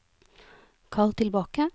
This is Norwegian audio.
kall tilbake